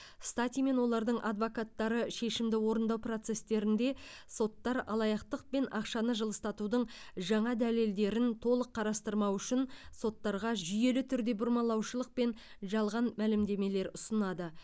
стати мен олардың адвокаттары шешімді орындау процестерінде соттар алаяқтық пен ақшаны жылыстатудың жаңа дәлелдерін толық қарастырмауы үшін соттарға жүйелі түрде бұрмалаушылық пен жалған мәлімдемелер ұсынады